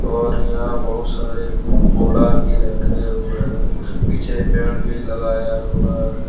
और यहां बहुत सारे बोड़ा भी रखें हुए हैं पीछे पेड़ भी लगाया हुआ है।